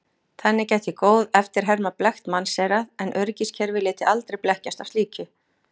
Þannig gæti góð eftirherma blekkt mannseyrað en öryggiskerfi léti aldrei blekkjast af slíku.